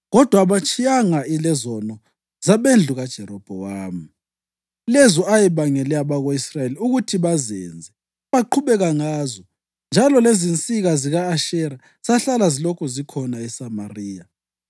Kodwa abatshiyananga lezono zabendlu kaJerobhowamu, lezo ayebangele abako-Israyeli ukuthi bazenze; baqhubeka ngazo, njalo lezinsika zika-Ashera zahlala zilokhu zikhona eSamariya.